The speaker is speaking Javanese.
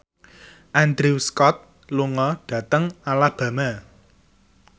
Andrew Scott lunga dhateng Alabama